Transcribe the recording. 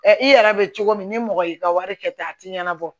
i yɛrɛ bɛ cogo min ni mɔgɔ y'i ka wari kɛ ten a tɛ ɲɛnabɔ